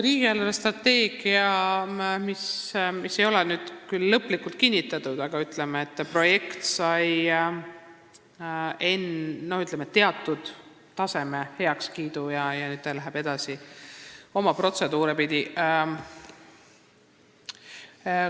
Riigi eelarvestrateegias, mis ei ole küll lõplikult kinnitatud, sai projekt teatud tasemel heakskiidu ja sellega minnakse oma protseduure pidi edasi.